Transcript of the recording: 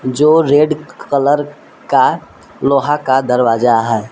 जो red colour का लोहा का दरवाजा है।